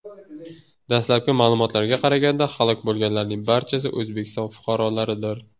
Dastlabki ma’lumotlarga qaraganda, halok bo‘lganlarning barchasi O‘zbekiston fuqarolaridir.